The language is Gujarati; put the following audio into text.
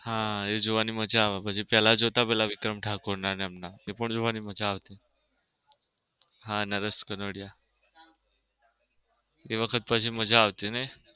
હા એ જોવાની મજા આવે પછી પેલા જોતા પેલા વિક્રમ ઠાકોર ના એમ ના આ પણ જોવની મજા આવતી હા નરેશ ક્નુડીયા એ વખત મજા આવતી નઈ.